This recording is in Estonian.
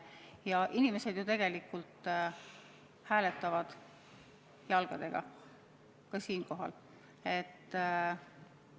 Ja inimesed ju tegelikult hääletavad jalgadega, ka ravimeid ostes.